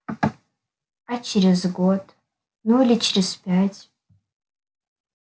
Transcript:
а через год ну или через пять